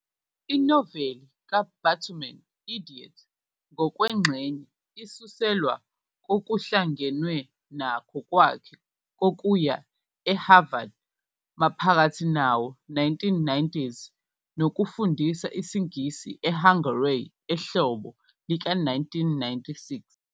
Inoveli kaBatuman "Idiot" ngokwengxenye isuselwa kokuhlangenwe nakho kwakhe kokuya eHarvard maphakathi nawo-1990s nokufundisa isiNgisi eHungary ehlobo lika-1996.